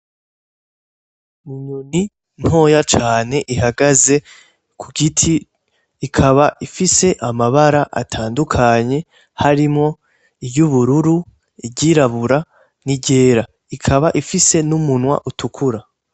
Inyoni ntoya cane ihagaze kugiti , ikaba ifise amabara atandukanye harimwo iryubururu, iryirabura niryera ikaba ifise n'umunwa utukura.